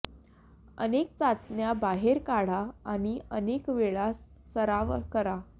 अनेक चाचण्या बाहेर काढा आणि अनेक वेळा सराव करा